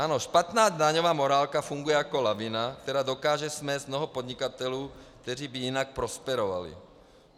Ano, špatná daňová morálka funguje jako lavina, která dokáže smést mnoho podnikatelů, kteří by jinak prosperovali.